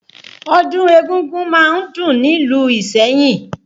Ọdún égúngún má ń dùn nílùú Ìsẹ́yìn